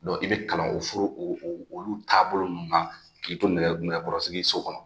Don i bɛ kalan o furu olu taabolo na k'i to nɛgɛkɔrɔsigi so kɔnɔ